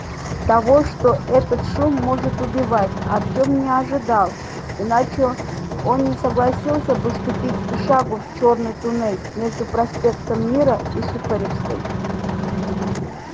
того что этот шум может убивать артем не ожидал иначе он не согласился бы ступить и шагу в чёрный туннель между проспектом мира и сухаревской